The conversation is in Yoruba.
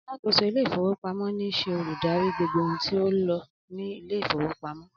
Alákòóso Ilé-ìfowópamó ní ṣe olùdarí gbogbo ohun tí ó ń lọ ní Ilé-ìfowópamó.